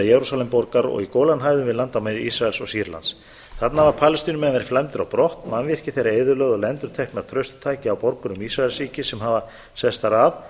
jerúsalemborgar og í gólanhæðum á landamærum ísraels og sýrlands þarna hafa palestínumenn verið flæmdir á brott mannvirki þeirra eyðilögð og lendur tæki á borgurum ísraelsríkis sem hafa sest þar að